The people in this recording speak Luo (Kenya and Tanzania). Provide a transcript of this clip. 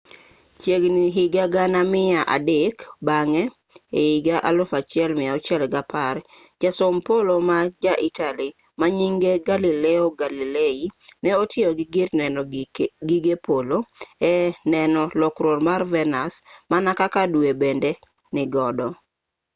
chiegini higa gana mia dek bang'e ehiga 1610 jasom polo ma ja italy manyinge galileo galilei ne otiyo gi gir neno gige polo e neno lokruok mar venus mana kaka due bende nigodo